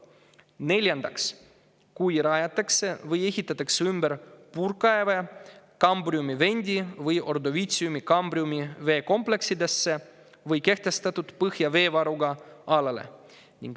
Neljandaks, kui rajatakse või ehitatakse ümber puurkaeve Kambriumi-Vendi või Ordoviitsiumi-Kambriumi veekompleksidesse või kehtestatud põhjaveevaruga alale.